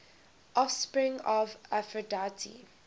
offspring of aphrodite